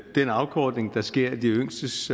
den afkortning der sker af de yngstes